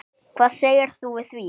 Hvað segir þú við því?